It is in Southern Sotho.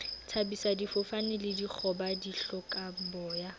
thabisa difofane le dikgoba dihlokaboya